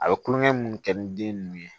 A bɛ kulonkɛ minnu kɛ ni den ninnu ye